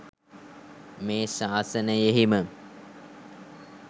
මේ ශාසනයෙහිම